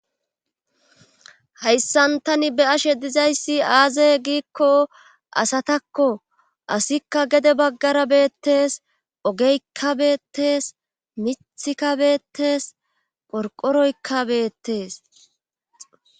hayssan tani be'ashe dizayssi aaze giikko asatakko asikka gede baggara beettes ogeykka beettes mithi kabeettes qorqoroykka beettes